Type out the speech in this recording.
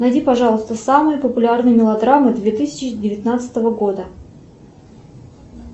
найди пожалуйста самые популярные мелодрамы две тысячи девятнадцатого года